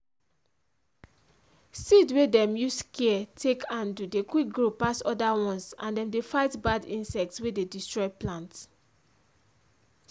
seed wey dem use care take handle dey quick grow pass other ones and dem dey fight bad insect wey dey destroy plant.